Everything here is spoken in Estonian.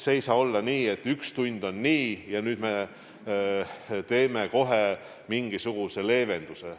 Ei saa olla nii, et üks tund on nii ja nüüd me teeme kohe mingisuguse leevenduse.